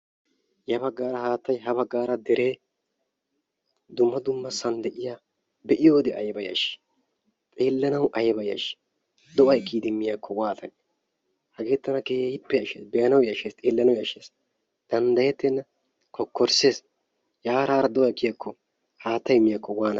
Ya baggaara haattay ha baggaara dere dumma dummasan de'iya be'iyoode aybba yashshi, xeelanaw aybba yashshi! do'ay kiyyidi miyaako waattanne? hege tana keehippe yashshees, be'anaw yashshees, xeellanaw yashshees. danddayetenna kokkorissees. yara haara do'ay kiyiyakko haattay miyaakko waannane?